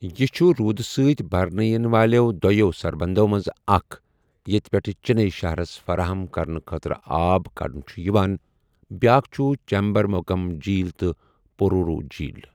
یہِ چُھ روُدٕ سۭتۍ بَرنہٕ یِنہٕ والیٚو دۄیَو سربندو منٛزٕ اَکھ ییٚتہِ پیٚٹھٕ چِنیی شَہرس فَراہم کرنہٕ خٲطرٕ آب کڑنہٕ چُھ یِوان بیٛاکھ چُھ چیمبَرمبَکم جھیٖل تہٕ پوروُر جھیٖل ۔